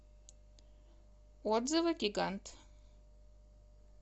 отзывы гигант